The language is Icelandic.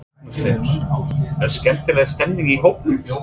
Magnús Hlynur: Er skemmtileg stemming í hópnum?